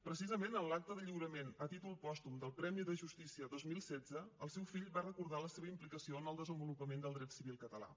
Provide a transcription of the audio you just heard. precisament en l’acte de lliurament a títol pòstum del premi de justícia dos mil setze el seu fill va recordar la seva implicació en el desenvolupament del dret civil català